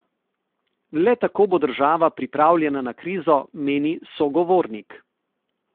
Le tako bo država pripravljena na krizo, meni sogovornik.